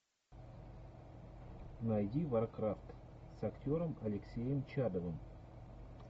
найди варкрафт с актером алексеем чадовым